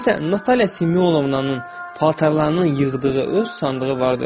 Məsələn, Natalya Simyonovnanın paltarlarını yığdığı öz sandığı vardır.